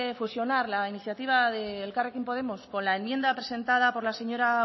fusionar la iniciativa de elkarrekin podemos con la enmienda presentada por la señora